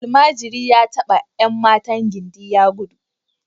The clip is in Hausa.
Almajiri ya taba ’yan matan gindi ya gudu